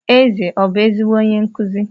Eze ọbụ ezigbo onye nkụzi?